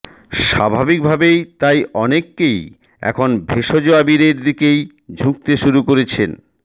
স্বাভাবিকভাবেই তাই অনেকেই এখন ভেষজ আবিরের দিকেই ঝুঁকতে শুরু করেছেন